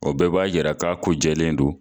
O bɛɛ b'a yira k'a ko jɛlen don.